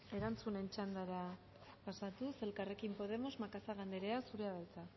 erantzunen txandara pasatuz elkarrekin podemos macazaga anderea zurea da hitza